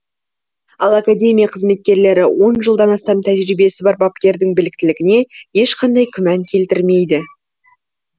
ал академия қызметкерлері он жылдан астам тәжірибесі бар бапкердің біліктілігіне ешқандай күмән келтірмейді